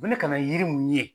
Fo ne ka na yiri minnu ye